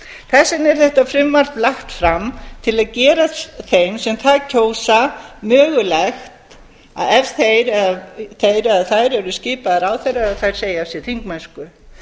þess vegna er þetta frumvarp lagt fram til að gera þeim sem það kjósa mögulegt að ef þeir eða þær eru skipuð ráðherrar að segja af sér þingmennsku